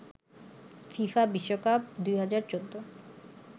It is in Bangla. ফিফা বিশ্বকাপ ২০১৪